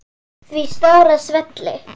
Því stóra svelli.